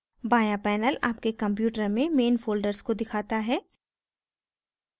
बाँया panel आपके computer में main folders को दिखाता है